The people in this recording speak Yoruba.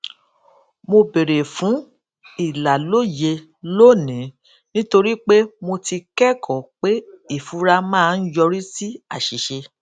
mo béèrè fún ìlàlóye lónìí nítorí pé mo ti kékòó pé ìfura máa ń yọrí sí àṣìṣe